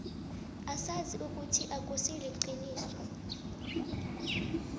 asazi ukuthi akusiqiniso